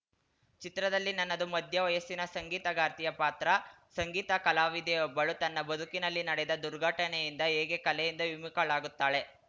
ಚಿತ್ರದಲ್ಲಿ ನನ್ನದು ಮಧ್ಯ ವಯಸ್ಸಿನ ಸಂಗೀತಗಾರ್ತಿಯ ಪಾತ್ರ ಸಂಗೀತ ಕಲಾವಿದೆಯೊಬ್ಬಳು ತನ್ನ ಬದುಕಿನಲ್ಲಿ ನಡೆದ ದುರ್ಘಟನೆಯಿಂದ ಹೇಗೆ ಕಲೆಯಿಂದ ವಿಮುಖಳಾಗುತ್ತಾಳೆ